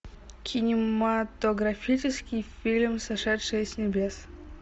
кинематографический фильм сошедшие с небес